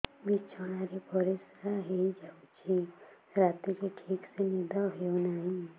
ବିଛଣା ରେ ପରିଶ୍ରା ହେଇ ଯାଉଛି ରାତିରେ ଠିକ ସେ ନିଦ ହେଉନାହିଁ